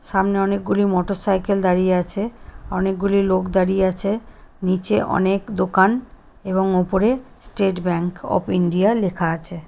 সামনে অনেক গুলি মোটরসাইকেল দাঁড়িয়ে আছে। অনেক গুলি লোক দাঁড়িয়ে আছে। নীচে অনেক দোকান এবং উপরে স্টেট ব্যাঙ্ক অফ ইন্ডিয়া লেখা আছে।